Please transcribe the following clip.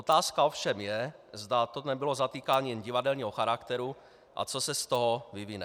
Otázka ovšem je, zda to nebylo zatýkáním jen divadelního charakteru a co se z toho vyvine.